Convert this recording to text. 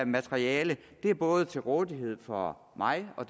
materiale er både til rådighed for mig og